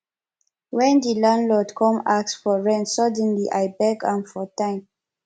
wen di landlord come ask for rent suddenly i beg am for time